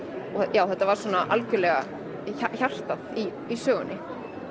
já þetta var svona algjörlega hjartað í sögunni